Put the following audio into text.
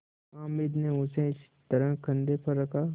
हामिद ने उसे इस तरह कंधे पर रखा